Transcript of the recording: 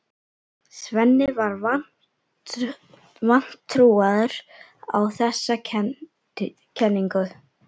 Svenni var vantrúaður á þessa kenningu.